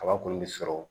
Kaba kɔni bɛ sɔrɔ